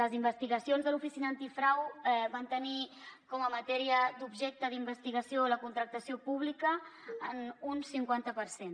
les investigacions de l’oficina d’antifrau van tenir com a matèria d’objecte d’investigació la contractació pública en un cinquanta per cent